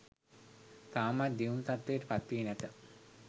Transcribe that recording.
තවමත් දියුණු තත්ත්වයට පත්වී නැත.